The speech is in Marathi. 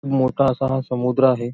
मोठा असा हा समुद्र आहे.